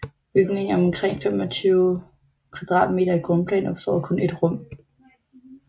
Bygningen er omkring 25 m2 i grundplan og består af kun ét rum